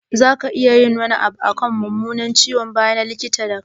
Za ka iya yin wani abu akan mummunan ciwon baya na, likita?